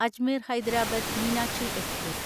Ajmer Hyderabad Meenakshi express